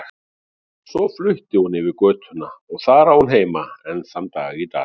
Svo flutti hún yfir götuna og þar á hún heima enn þann dag í dag.